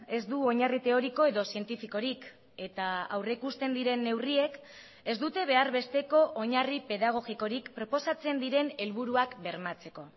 ez du oinarri teoriko edo zientifikorik eta aurrikusten diren neurriek ez dute behar besteko oinarri pedagogikorik proposatzen diren helburuak bermatzeko